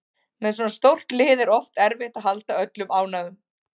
Með svona stórt lið er oft erfitt að halda öllum ánægðum